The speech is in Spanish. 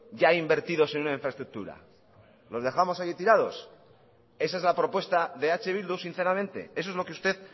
ya invertidos en una infraestructura los dejamos ahí tirados esa es la propuesta de eh bildu sinceramente eso es lo que usted